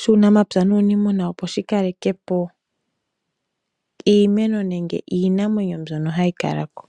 shuunamapya nuuniimuna opo shikalekepo iimeno nenge iinamwenyo mbyono hayi kala ko.